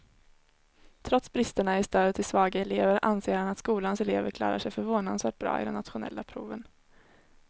Trots bristerna i stödet till svaga elever anser han att skolans elever klarar sig förvånansvärt bra i de nationella proven.